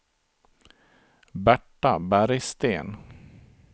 Berta Bergsten